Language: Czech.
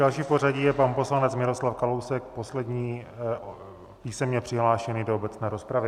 Další v pořadí je pan poslanec Miroslav Kalousek, poslední písemně přihlášený do obecné rozpravy.